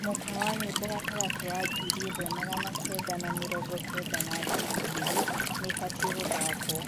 mũkwa wa nyĩmbo gatagati wa ngiri ĩmwe magana kenda na mĩrongo kenda na ngiri ĩgĩrĩ niibatie guthakwo